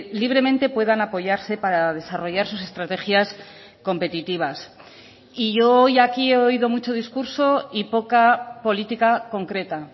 libremente puedan apoyarse para desarrollar sus estrategias competitivas y yo hoy aquí he oído mucho discurso y poca política concreta